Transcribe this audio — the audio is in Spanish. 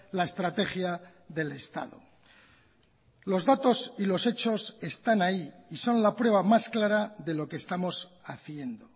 la estrategia del estado los datos y los hechos están ahí y son la prueba más clara de lo que estamos haciendo